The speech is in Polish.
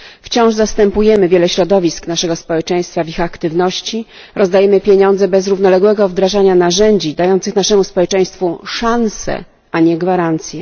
Wciąż zastępujemy wiele środowisk naszego społeczeństwa w ich aktywności, rozdajemy pieniądze bez równoległego wdrażania narzędzi dających naszemu społeczeństwu szanse, a nie gwarancje.